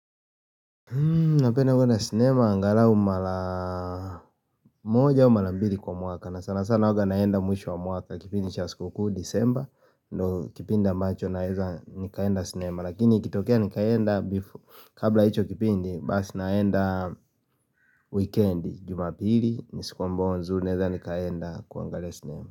Hmm, napenda kwenda sinema angalau mara moja au mara mbili kwa mwaka na sana sana huwanga naenda mwisho wa mwaka kipindi cha sikukuu disemba ndo kipindi ambacho naweza nikaenda sinema lakini ikitokea nikaenda, kabla ya hicho kipindi basi naenda weekend, jumapili, ni siku ambayo nzuri naweza nikaenda kuangalia sinema.